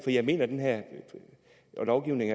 jeg mener at den her lovgivning